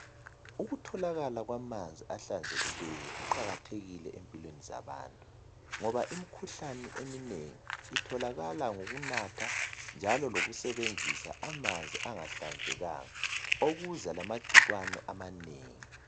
Ukutholakala kwamanzi ahlanzekileyo kuqakathekile empilweni zabantu ngoba imkhuhlane eminengi itholakala ngokunatha njalo lokusebenzisa amanzi angahlanzekanga . Okuza lamagcikwane amanengi .